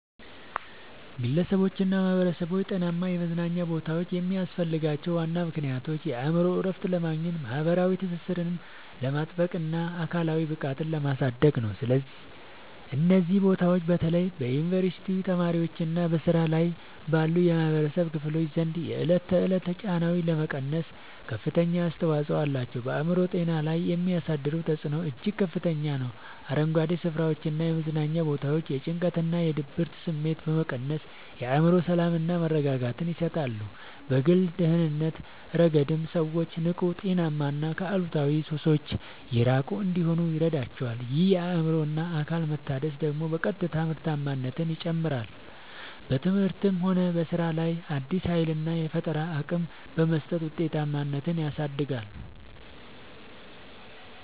ግለሰቦችና ማኅበረሰቦች ጤናማ የመዝናኛ ቦታዎች የሚያስፈልጓቸው ዋና ምክንያቶች የአእምሮ እረፍት ለማግኘት፣ ማኅበራዊ ትስስርን ለማጥበቅና አካላዊ ብቃትን ለማሳደግ ነው። እነዚህ ቦታዎች በተለይ በዩኒቨርሲቲ ተማሪዎችና በሥራ ላይ ባሉ የኅብረተሰብ ክፍሎች ዘንድ የዕለት ተዕለት ጫናዎችን ለመቀነስ ከፍተኛ አስተዋጽኦ አላቸው። በአእምሮ ጤና ላይ የሚያሳድሩት ተጽዕኖ እጅግ ከፍተኛ ነው፤ አረንጓዴ ስፍራዎችና የመዝናኛ ቦታዎች የጭንቀትና የድብርት ስሜትን በመቀነስ የአእምሮ ሰላምና መረጋጋትን ይሰጣሉ። በግል ደህንነት ረገድም ሰዎች ንቁ: ጤናማና ከአሉታዊ ሱሶች የራቁ እንዲሆኑ ይረዳቸዋል። ይህ የአእምሮና አካል መታደስ ደግሞ በቀጥታ ምርታማነትን ይጨምራል: በትምህርትም ሆነ በሥራ ላይ አዲስ ኃይልና የፈጠራ አቅም በመስጠት ውጤታማነትን ያሳድጋል።